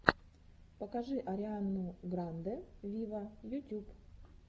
покажи ариану гранде виво ютюб